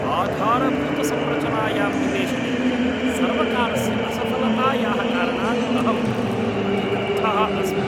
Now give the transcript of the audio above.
आधारभूतसंरचनायां निवेशने सर्वकारस्य असफलतायाः कारणात् अहम् अतिक्रुद्धः अस्मि।